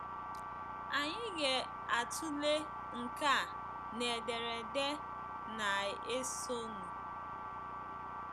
Anyị ga-atụle nke a na ederede na-esonụ.